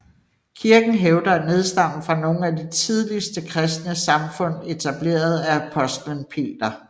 Kirken hævder at nedstamme fra nogle af de tidligste kristne samfund etableret af Apostlen Peter